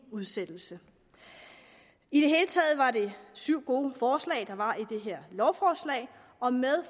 udsættelse i det hele taget var det syv gode forslag der var i dette lovforslag og med